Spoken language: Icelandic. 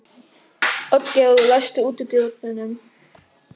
Oddgerður, læstu útidyrunum.